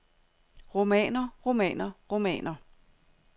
romaner romaner romaner